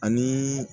Ani